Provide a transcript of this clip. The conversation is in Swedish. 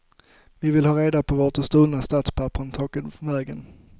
Vi vill ha reda på vart de stulna statspapperen tagit vägen.